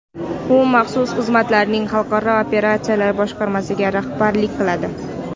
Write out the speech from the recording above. U maxsus xizmatlarning xalqaro operatsiyalar boshqarmasiga rahbarlik qiladi.